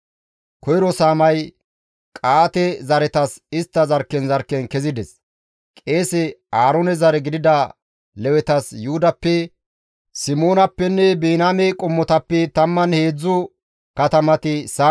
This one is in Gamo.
Koyro saamay Qa7aate zereththatas istta zarkken zarkken kezides. Qeese Aaroone zare gidida Lewetas Yuhudappe, Simoonappenne Biniyaame qommotappe 13 katamati saaman gakkida.